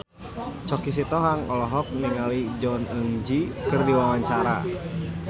Choky Sitohang olohok ningali Jong Eun Ji keur diwawancara